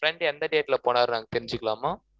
friend எந்த date ல போனாருன்னு, நாங்க தெரிஞ்சுக்கலாமா